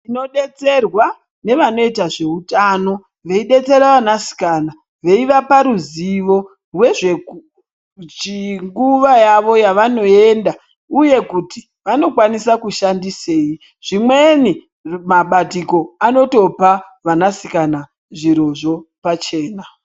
Tinodetserwa nevanoita zveutano veidetsera vanasikana veivapa ruzivo rwezvenguwa yavo yavanoenda uye kuti vanokwanisa kushandisei zvimweni mabatiko anotopa vanasikana zvirozvo pachena.